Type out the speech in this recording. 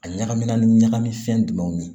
A ɲagaminan ni ɲagami fɛn jumɛnw ye